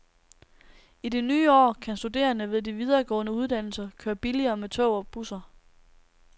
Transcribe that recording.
I det nye år kan studerende ved de videregående uddannelser køre billigere med tog og busser.